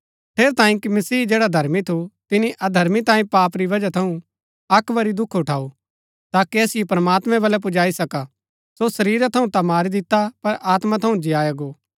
ठेरैतांये कि मसीह जैड़ा धर्मी थू तिनी अधर्मी तांयें पाप री वजह थऊँ अक्क वरी दुख उठाऊ ताकि असिओ प्रमात्मैं वलै पुजाई सका सो शरीरा थऊँ ता मारी दिता पर आत्मा थऊँ जिय्आ गो